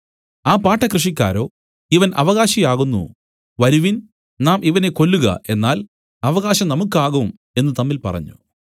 ആ പാട്ടക്കൃഷിക്കാരോ ഇവൻ അവകാശി ആകുന്നു വരുവിൻ നാം ഇവനെ കൊല്ലുക എന്നാൽ അവകാശം നമുക്കാകും എന്നു തമ്മിൽ പറഞ്ഞു